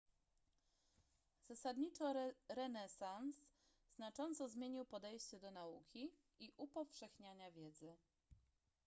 zasadniczo renesans znacząco zmienił podejście do nauki i upowszechniania wiedzy